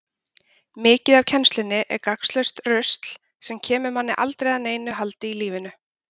Mikið af kennslunni er gagnslaust rusl, sem kemur manni aldrei að neinu haldi í lífinu.